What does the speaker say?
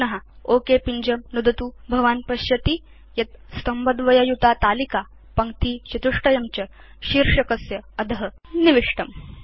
पुन ओक पिञ्जं नुदतु भवान् पश्यति यत् स्तम्भद्वययुतातालिका पङ्क्तिचतुष्टयं च शीर्षकस्य अध निविष्टम्